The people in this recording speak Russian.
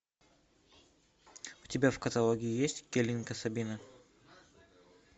у тебя в каталоге есть келинка сабина